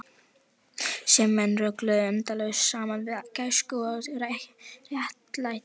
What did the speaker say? Sem menn rugluðu endalaust saman við gæsku og réttlæti.